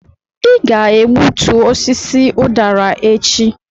ị ga-egbutu osisi ụdara a echi!